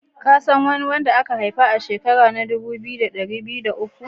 Ka san kowa da an haifa a'shekaran dubu biyu da dari biyu da uku?